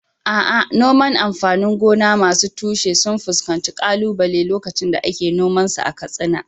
A’a, noman amfanin gona masu tushe sun fuskanci kalubale lokacin da ake noman su a Katsina.